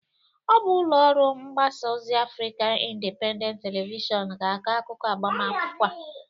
Ọ bụ ụlọ ọrụ mgbasa ozi Afrikan Indịpendent Televishọn ga-akọ akụkụ agbamakwụkwọ a.